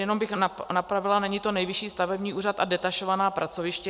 Jenom bych napravila, není to Nejvyšší stavební úřad a detašovaná pracoviště.